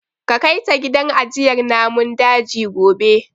Ka kai ta gidan ajiyar namun daji gobe.